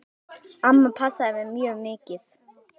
Amma passaði mig mjög mikið.